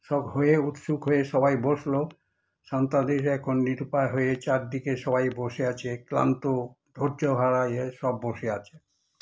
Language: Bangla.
সব হয়ে উৎসুক হয়ে সবাই বসলো, সন্তানেরা এখন নিরুপায় হয়ে চারদিকে সবাই বসে আছে ক্লান্ত ধৈর্যহারা হয়ে সব বসে আছে।